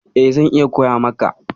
E, zan iya koya maka.